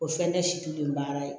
O fɛn tɛ situlen baara ye